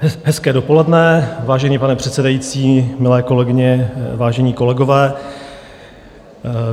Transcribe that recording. Hezké dopoledne, vážený pane předsedající, milé kolegyně, vážení kolegové.